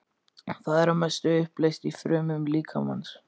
Það er að mestu uppleyst í frumum líkamans.